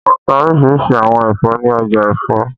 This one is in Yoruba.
Wọ́n n ta orísirísi àwọn ẹ̀fọ́ ní ọjà Ifo